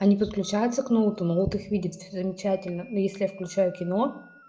а не подключается к ноуту ноут их видит все замечательно но если я включаю кино